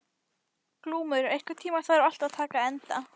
Glúmur, einhvern tímann þarf allt að taka enda.